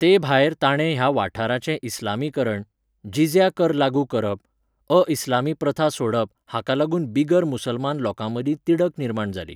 तेभायर ताणें ह्या वाठाराचें इस्लामीकरण, जिझ्या कर लागू करप, अ इस्लामी प्रथा सोडप हाका लागून बिगर मुसलमान लोकांमदीं तिडक निर्माण जाली.